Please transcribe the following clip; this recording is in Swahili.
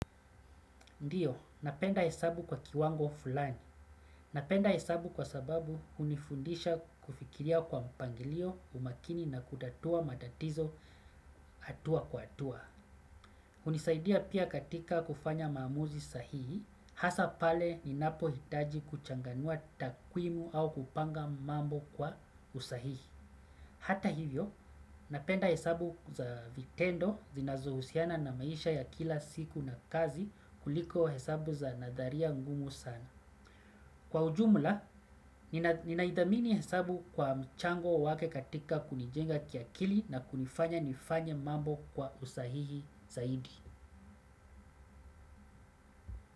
Ndiyo, napenda hesabu kwa kiwango fulani. Napenda hesabu kwa sababu hunifundisha kufikiria kwa mpangilio umakini na kutatua matatizo hatua kwa hatua. Unisaidia pia katika kufanya maamuzi sahihi, hasa pale ninapohitaji kuchanganua takwimu au kupanga mambo kwa usahihi. Hata hivyo, napenda hesabu za vitendo zinazohusiana na maisha ya kila siku na kazi kuliko hesabu za nadharia ngumu sana. Kwa ujumla, ninaidhamini hesabu kwa mchango wake katika kunijenga kiakili na kunifanya nifanye mambo kwa usahihi zaidi.